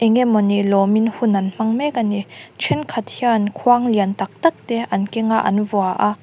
eng nge mawni lawmin hun an hmang mek a ni then khat hian khuang lian tak tak te an kenga an vua a.